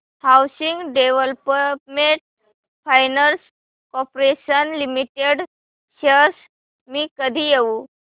housing development finance corporation limited shares मी कधी घेऊ